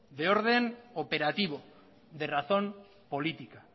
de orden operativo de razón política